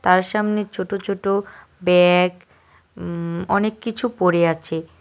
তার সামনে ছোট ছোট ব্যাগ উম অনেককিছু পড়ে আছে।